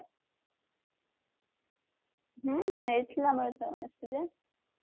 ହଁ ହେଇଥିଲା ଗଣେଶ ପୂଜା